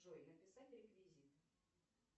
джой написать реквизиты